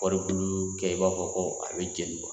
Kɔɔri bulu kɛ i b'a fɔ ko a bɛ jeni